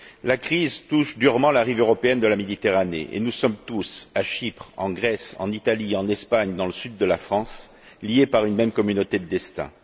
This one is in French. La crise touche durement la rive européenne de la Méditerranée et nous sommes tous, à Chypre, en Grèce, en Italie, en Espagne, dans le sud de la France, liés par une même communauté de destins.